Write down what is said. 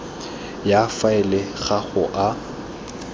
ya faele ga go a